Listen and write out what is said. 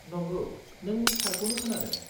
नंगौ, नों थारखौनो खोनादों।